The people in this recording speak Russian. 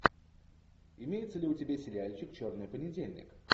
имеется ли у тебя сериальчик черный понедельник